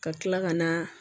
Ka tila ka na